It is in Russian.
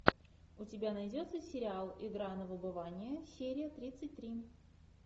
у тебя найдется сериал игра на выбывание серия тридцать три